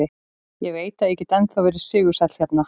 Ég veit að ég get ennþá verið sigursæll hérna.